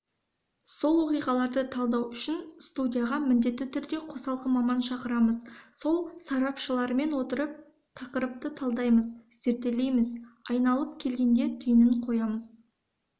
сол оқиғаларды талдау үшін студияға міндетті түрде қосалқы маман шақырамыз сол сарапшымен отырып тақырыпты талдаймыз зерделейміз айналып келгенде түйінін қоямыз